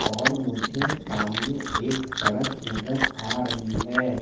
और मुझे सामने एक सड़क नजर आ रही है।